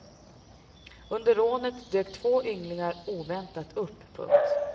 Under rånet dök två ynglingar oväntat upp. punkt